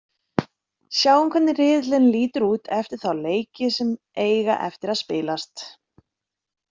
Sjáum hvernig riðillinn lítur út eftir þá leiki sem eiga eftir að spilast.